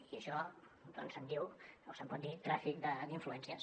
i això se’n diu o se’n pot dir tràfic d’influències